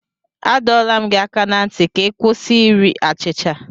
Adọla m gị aka ná ntị ka ị kwụsị iri achịcha!